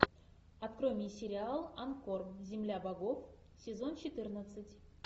открой мне сериал ангкор земля богов сезон четырнадцать